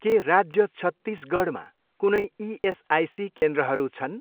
के राज्य छत्तिसगढमा कुनै इएसआइसी केन्द्रहरू छन्?